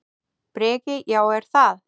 Breki: Já, er það?